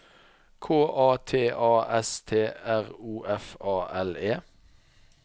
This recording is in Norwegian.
K A T A S T R O F A L E